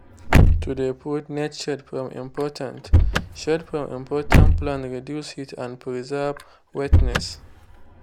to de put net shade from important shade from important plant reduce heat and preserve wetness.